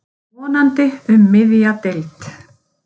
Vonandi um miðja deild.